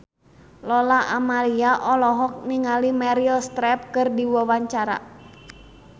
Lola Amaria olohok ningali Meryl Streep keur diwawancara